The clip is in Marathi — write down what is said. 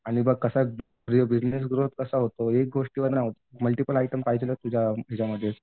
आणि बघ कसं आहे बिजनेस ग्रोथ कसा होतो? एक गोष्टीवर नाही होत मल्टिपल आयटम्स पाहिजेत तुझ्या